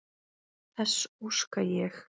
Þess óska ég.